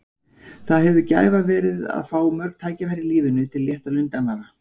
Það hefur verið gæfa að fá mörg tækifæri í lífinu til að létta lund annarra.